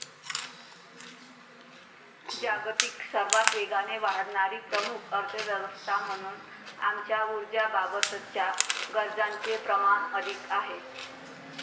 जागतिक सर्वात वेगाने वाढणारी प्रमुख अर्थव्यवस्था म्हणून आमच्या ऊर्जाबाबतच्या गरजांचे प्रमाण अधिक आहे.